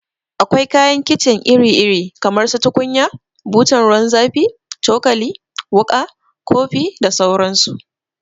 Akwai kayan kicin iri iri kamar su tukunya, butan ruwan zafi, cokali, wuka, kofi da sauran su